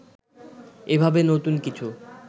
এভাবে নতুন কিছু